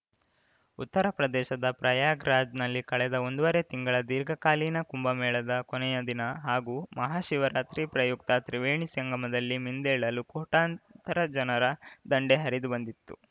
ಉತ್ತರ ಪ್ರದೇಶದ ಪ್ರಯಾಗ್‌ರಾಜ್ನಲ್ಲಿ ಕಳೆದ ಒಂದುವರೆ ತಿಂಗಳ ದೀರ್ಘಾಕಾಲೀನ ಕುಂಭಮೇಳದ ಕೊನೆಯ ದಿನ ಹಾಗೂ ಮಹಾಶಿವರಾತ್ರಿ ಪ್ರಯುಕ್ತ ತ್ರಿವೇಣಿ ಸಂಗಮದಲ್ಲಿ ಮಿಂದೇಳಲು ಕೋಟಾಂತರ ಜನರ ದಂಡೇ ಹರಿದುಬಂದಿತು